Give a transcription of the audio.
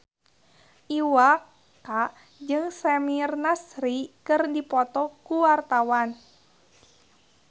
Iwa K jeung Samir Nasri keur dipoto ku wartawan